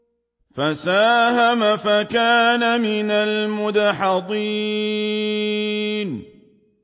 فَسَاهَمَ فَكَانَ مِنَ الْمُدْحَضِينَ